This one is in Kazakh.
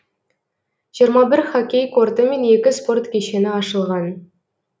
жиырма бір хоккей корты мен екі спорт кешені ашылған